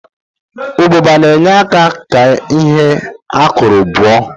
Ụbụba na-enye aka ka ihe a kụrụ buo